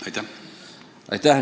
Aitäh!